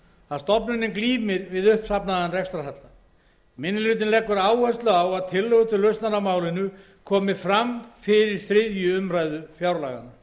að stofnunin glímir við uppsafnaðan rekstrarhalla minni hlutinn leggur áherslu á að tillögur til lausnar á málinu komi fram fyrir þriðju umræðu fjárlaganna